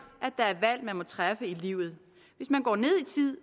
at man må træffe i livet hvis man går ned